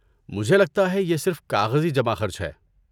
مجھے لگتا ہے یہ صرف کاغذی جمع خرچ ہے۔